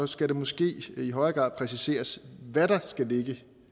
skal det måske i højere grad præciseres hvad der skal ligge